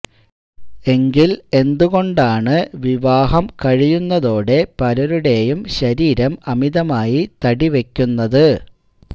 എങ്കിൽ എന്തുകൊണ്ടാണ് വിവാഹം കഴിയുന്നതോടെ പലരുടെയും ശരീരം അമിതമായി തടി വയ്ക്കുന്നത്